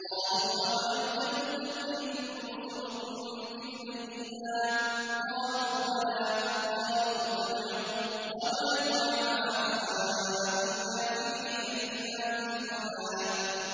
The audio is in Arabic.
قَالُوا أَوَلَمْ تَكُ تَأْتِيكُمْ رُسُلُكُم بِالْبَيِّنَاتِ ۖ قَالُوا بَلَىٰ ۚ قَالُوا فَادْعُوا ۗ وَمَا دُعَاءُ الْكَافِرِينَ إِلَّا فِي ضَلَالٍ